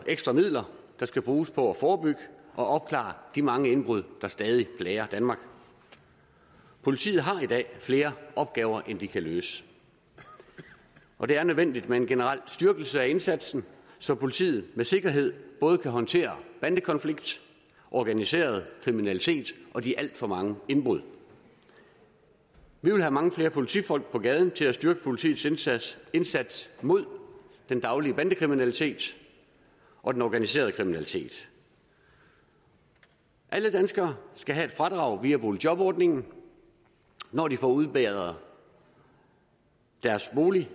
ekstra midler der skal bruges på at forebygge og opklare de mange indbrud der stadig plager danmark politiet har i dag flere opgaver end de kan løse og det er nødvendigt med en generel styrkelse af indsatsen så politiet med sikkerhed både kan håndtere bandekonflikter organiseret kriminalitet og de alt for mange indbrud vi vil have mange flere politifolk på gaden til at styrke politiets indsats indsats mod den daglige bandekriminalitet og den organiserede kriminalitet alle danskere skal have et fradrag via boligjobordningen når de får udbedret deres bolig